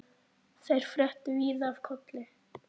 Þeir fréttu víða af Kolli.